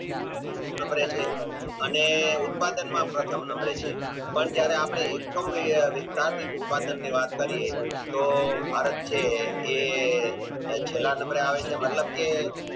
Number એ છે છે અને ઉત્પાદન માં પ્રથમ number એ છે પણ જયારે એકમ વ્યવહાર શીખતાં તે ઉત્પાદનની વાત કરીયે તો ભારત છે એ છેલ્લા number એ આવે છે મતલબ કે